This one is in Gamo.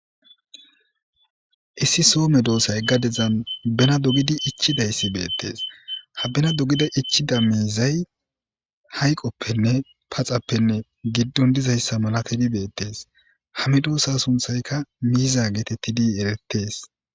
Issi so medosay gadezan bena dogidi ichidaysi beetes. Ha bena dogidi ichida mizay hayiqoppenne paxappenne giddon dizaysa milatidi beetes. Ha medosay sunthayka miza getetiri eretes.